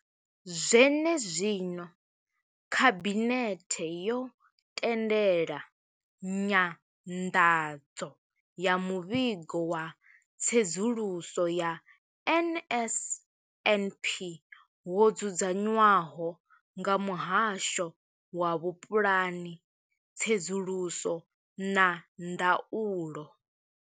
Zwenezwino, khabinethe yo tendela nyanḓadzo ya muvhigo wa tsedzuluso ya NSNP wo dzudzanywaho nga muhasho wa vhupulani, tsedzuluso na ndaulo.